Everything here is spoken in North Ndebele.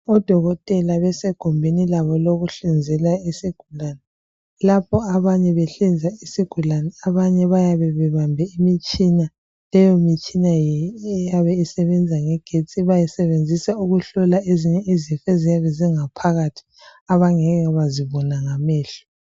odokotela besegumbini labo lokuhlinzela izigulane lapho abanye behlinza isigulane abanye bayabe bebambe imitshina leyo mitshina iyabe isebenza ngegetsi bayisebenzisa ukuhlola izifo eziyabe zingaphakathi abangeke bazibona ngamehlo